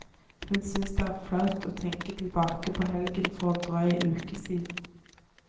Hun synes det er flaut å tenke tilbake på helgen for en drøy uke siden.